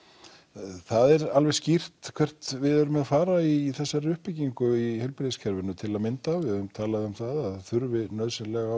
það er alveg skýrt hvert við erum að fara í þessari uppbyggingu í heilbrigðiskerfinu til að mynda við höfum talað um að það þurfi nauðsynlega